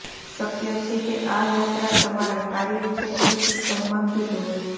શક્ય છે કે આ યાત્રા તમારા કાર્યક્ષેત્ર થી સંબંધિત હોય